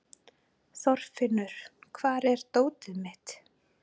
Þorfinnur, hvar er dótið mitt?